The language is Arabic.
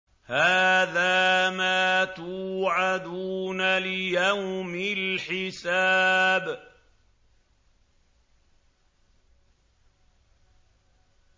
هَٰذَا مَا تُوعَدُونَ لِيَوْمِ الْحِسَابِ